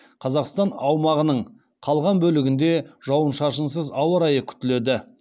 қазақстан аумағының қалған бөлігінде жауын шашынсыз ауа райы күтіледі